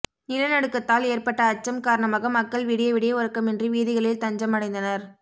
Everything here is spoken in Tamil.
நிலநடுக்கத்தால் ஏற்பட்ட அச்சம் காரணமாக மக்கள் விடியவிடிய உறக்கமின்றி வீதிகளில் தஞ்சம் அடைந்தனர்